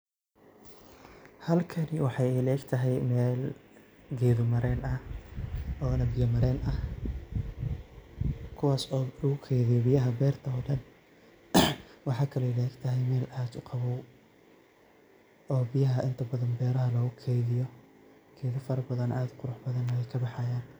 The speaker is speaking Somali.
Halkani waxay ila egtahay meel geeda mareen ah oona biyo mareen ah kuwas oo lugu kaydiyo biyaha beerta oo dhan. Waxaa kale ila egtahay meel aad uqabow oo biyaha inta badan beeraha loogu kaydiyo geeda farabadan add u qurux badan ay kabahayaan.